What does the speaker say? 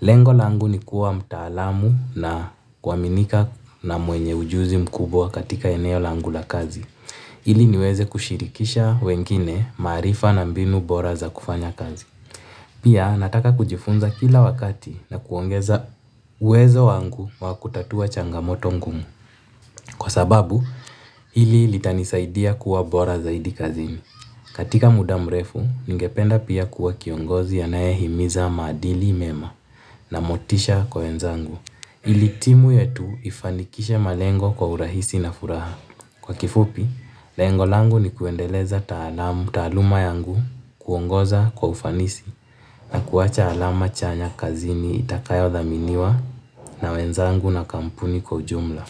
Lengo langu nikuwa mtaalamu na kuaminika na mwenye ujuzi mkubwa katika eneo langu la kazi ili niweze kushirikisha wengine maarifa na mbinu bora za kufanya kazi. Pia nataka kujifunza kila wakati na kuongeza uwezo wangu wa kutatua changamoto ngumu. Kwa sababu, hili litanisaidia kuwa bora zaidi kazini. Katika muda mrefu, ningependa pia kuwa kiongozi anaye himiza maadili mema na motisha kwa wenzangu. Ili timu yetu ifanikishe malengo kwa urahisi na furaha. Kwa kifupi, lengo langu ni kuendeleza taaluma yangu kuongoza kwa ufanisi na kuwacha alama chanya kazini itakayo dhaminiwa na wenzangu na kampuni kwa ujumla.